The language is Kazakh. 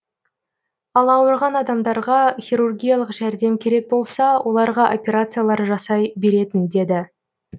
ал ауырған адамдарға хирургиялық жәрдем керек болса оларға операциялар жасай беретін деді